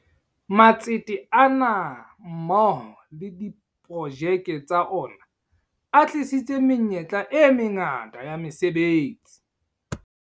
Matsete ana mmoho le diprojeke tsa ona a thehile menyetla e mangata ya mese betsi.